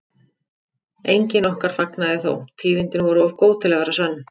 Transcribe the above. Enginn okkar fagnaði þó, tíðindin voru of góð til að vera sönn.